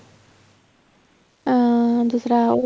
ਅਹ Jasrav